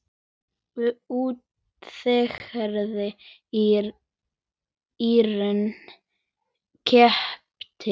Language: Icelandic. Útgerð í Íran keypti skipið.